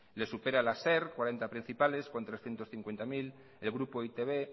le supera la ser cuarenta principales con trescientos cincuenta mil el grupo e i te be